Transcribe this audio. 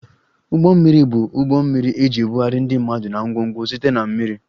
Ụgbọ mmiri bụ ụgbọ mmiri eji ebugharị ndị mmadụ na ngwongwo site na mmiri